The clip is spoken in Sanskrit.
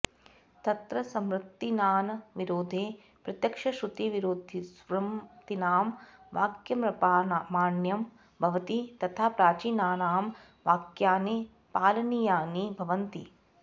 तत्र स्मृतीनां विरोधे प्रत्यक्षश्रुतिविरोधिस्मृतीनां वाक्यमप्रामाण्यं भवति तथा प्राचीनानां वाक्यानि पालनीयानि भवन्ति